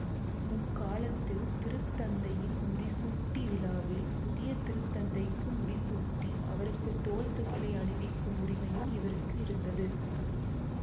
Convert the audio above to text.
முக்காலத்தில் திருத்தந்தையின் முடிசூட்டி விழாவில் புதிய திருத்தந்தைக்கு முடிசூட்டி அவருக்கு தோள் துகிலை அணிவிக்கும் உரிமையும் இவருக்கு இருந்தது